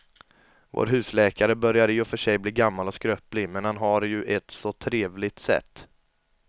Vår husläkare börjar i och för sig bli gammal och skröplig, men han har ju ett sådant trevligt sätt!